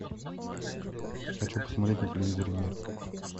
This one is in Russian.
хочу посмотреть на телевизоре мир